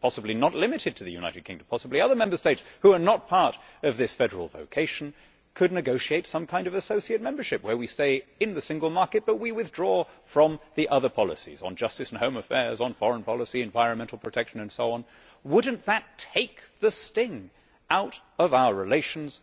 possibly not limited to the United Kingdom, possibly other Member States who are not part of this federal vocation could negotiate some kind of associate membership where we stay in the single market but withdraw from the other policies on justice and home affairs, foreign policy, environmental protection and so on? Would that not take the sting out of our relations?